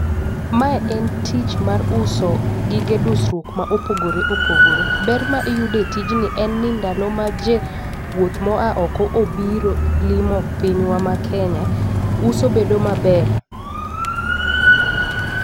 Mae en tich mar uso gige dusruok ma opogore opogore. Ber ma iyude tijni en ni ndalo ma jowuoth moa oko obiro limo pinywa ma kenya , uso bedo maber.